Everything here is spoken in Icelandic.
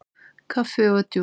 Kaffi og djús.